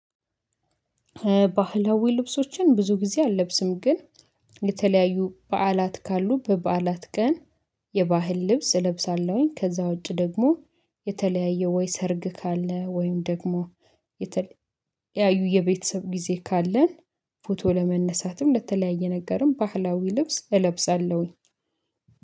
ባህላዊ ልብሶችን ብዙ ጊዜ አልለብስም ግን የተለያዩ በዓላት ካሉ በበዓላት ቀን የባህል ልብስ እለብሳለሁኝ። ከዛ ውጪ ደግሞ የተለያየ ወይ ሰርግ ካለ ወይም ደግሞ የተለያዩ የቤተሰብ ጊዜ ካለን ፎቶ ለመነሳትም ለተለያየ ነገርም ባህላዊ ልብስ እለብሳለሁኝ።